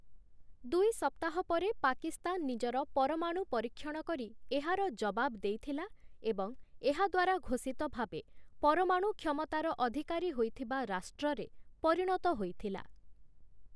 ଦୁଇ ସପ୍ତାହ ପରେ ପାକିସ୍ତାନ ନିଜର ପରମାଣୁ ପରୀକ୍ଷଣ କରି ଏହାର ଜବାବ ଦେଇଥିଲା ଏବଂ ଏହା ଦ୍ୱାରା ଘୋଷିତ ଭାବେ ପରମାଣୁ କ୍ଷମତାର ଅଧିକାରୀ ହୋଇଥିବା ରାଷ୍ଟ୍ରରେ ପରିଣତ ହୋଇଥିଲା ।